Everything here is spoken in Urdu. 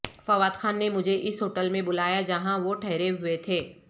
فوادخان نے مجھے اس ہوٹل میں بلایاجہاں وہ ٹھہرے ہوئے تھے